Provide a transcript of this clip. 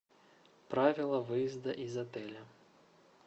правила выезда из отеля